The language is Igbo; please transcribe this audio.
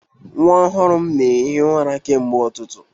Nwa ọhụrụ m na-ehi ụra kemgbe ụtụtụ